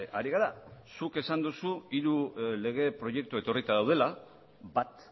ari gara zuk esan duzu hiru lege proiektu etorrita daudela bat